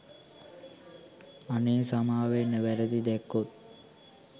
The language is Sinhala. අනේ සමාවෙන්න වැරදි දැක්කොත්.